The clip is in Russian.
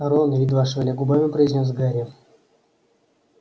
рон едва шевеля губами произнёс гарри